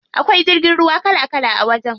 Akwai jirgin ruwa kala kala a wajen.